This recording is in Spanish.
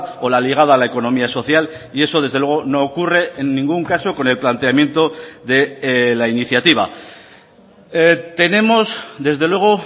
o la ligada a la economía social y eso desde luego no ocurre en ningún caso con el planteamiento de la iniciativa tenemos desde luego